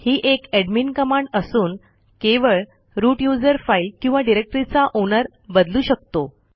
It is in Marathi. ही एक एडमिन कमांड असून केवळ रूट यूझर फाईल किंवा डिरेक्टरीचा ओनर बदलू शकतो